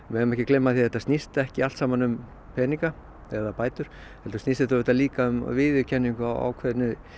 megum ekki gleyma því að þetta snýst ekki allt um peninga eða bætur heldur snýst þetta líka um viðurkenningu á ákveðinni